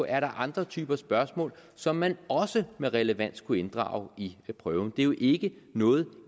er andre typer spørgsmål som man også med relevans kunne inddrage i prøven det er jo ikke noget